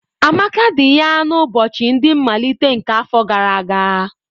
Amaka di ya n'ụbọchị ndị nmalite nke afọ gara aga.